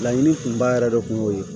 Laɲini kunba yɛrɛ de kun y'o ye